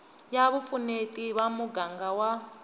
ya vupfuneti va muganga wa